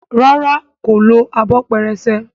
ràrá kò ló Abọ́ pẹrẹsẹ.